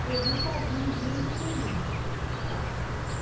que eu nunca vi em mundo nenhum, tá?